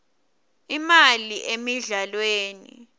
imali emidlalweni